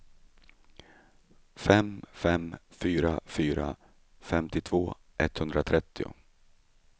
fem fem fyra fyra femtiotvå etthundratrettio